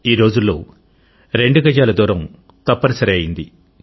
ఈరోజుల్లో రెండు గజాల దూరం తప్పనిసరి అయింది